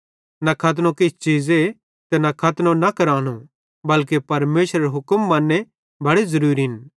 न खतनो किछ चीज़े ते न खतनो न करानो बल्के परमेशरेरे हुक्म मन्ने बड़े ज़रूरिन